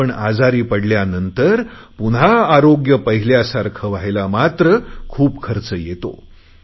पण आजारी पडल्यानंतर पुन्हा आरोग्य पहिल्यासारखे व्हायला मात्र खूप खर्च येतो